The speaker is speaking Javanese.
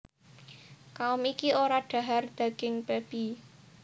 Kaum iki ora dhahar daging babi